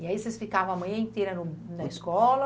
E aí vocês ficavam a manhã inteira no na escola?